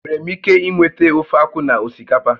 Enwere m ike inweta ofeakwu na osikapa?